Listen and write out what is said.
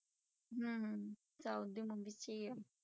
ਹਮ south ਦੀ movie 'ਚ ਹੀ ਆ।